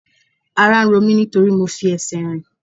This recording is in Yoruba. Ara ń ro mí nítorí mo fi ẹsẹ̀ rìn.